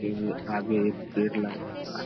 इ आगे एक पेड़ लगा हुआ है।